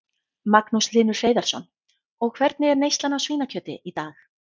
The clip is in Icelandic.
Magnús Hlynur Hreiðarsson: Og hvernig er neyslan á svínakjöti í dag?